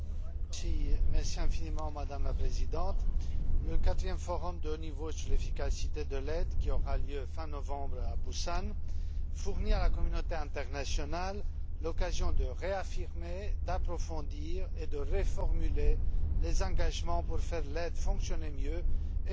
Madame la Présidente, le quatrième forum de haut niveau sur l'efficacité de l'aide, qui aura lieu fin novembre à Busan, fournit à la communauté internationale l'occasion de réaffirmer, d'approfondir et de reformuler les engagements pour que l'aide fonctionne mieux et pour promouvoir le développement.